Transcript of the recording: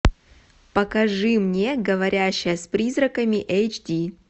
покажи мне говорящая с призраками эйч ди